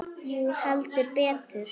Jú, heldur betur